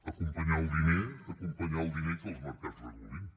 acompanyar el diner acompanyar el diner i que els mercats regulin